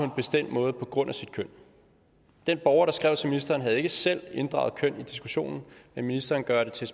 en bestemt måde på grund af sit køn den borger der skrev til ministeren havde ikke selv inddraget køn i diskussionen men ministeren gør det til